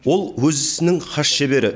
ол өз ісінің хас шебері